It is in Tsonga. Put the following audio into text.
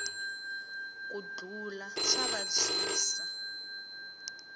ku dlula swa vabyisa